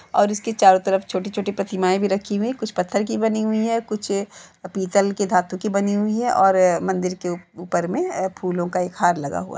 और इसके चारो तरफ छोटी छोटी पतिमाएं भी रखी हुईं हैं कुछ पत्थर कि बनी हुई है कुछ पीतल के धातु कि बनी हुई है और मंदिर के ऊपर में एं फूलो का हार लगा हुआ --